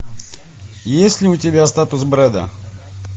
есть ли у тебя статус брэда